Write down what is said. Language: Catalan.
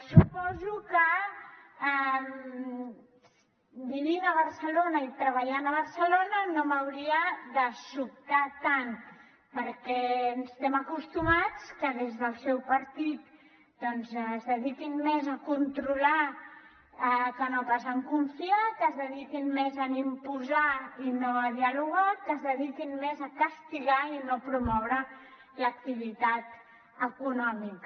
suposo que vivint a barcelona i treballant a barcelona no m’hauria de sobtar tant perquè estem acostumats que des del seu partit doncs es dediquin més a controlar que no pas a confiar que es dediquin més a imposar i no a dialogar que es dediquin més a castigar i no a promoure l’activitat econòmica